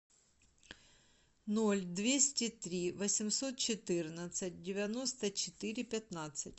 ноль двести три восемьсот четырнадцать девяносто четыре пятнадцать